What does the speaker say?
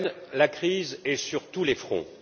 En Ukraine, la crise est sur tous les fronts.